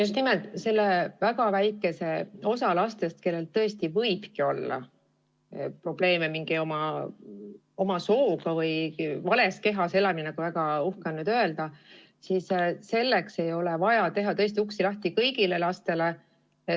Just nimelt selle väga väikese osa laste pärast, kellel tõesti võibki olla probleeme oma sooga või vales kehas elamisega, nagu väga uhke on nüüd öelda, ei ole vaja teha uksi lahti kõigile lastele.